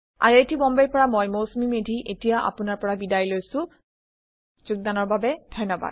I I T Bombay ৰ পৰা মই মৌচুমী মেধী এতিয়া আপুনাৰ পৰা বিদায় লৈছো যোগদানৰ বাবে ধন্যবাদ